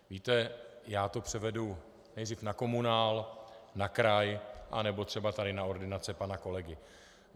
Víte, já to převedu nejdřív na komunál, na kraj anebo třeba tady na ordinaci pana kolegy.